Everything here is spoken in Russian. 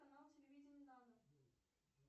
канал телевидения дана